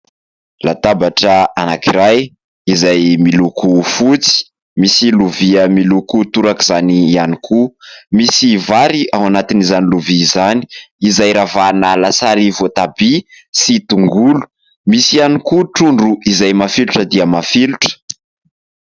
Latabatra anankiray izay miloko fotsy misy lovia miloko toraka izany ihany koa. Misy vary ao anatiny izany lovia izany izay ravahana lasary voatabia sy tongolo, misy ihany koa trondro izay mafilotra dia mafilotra.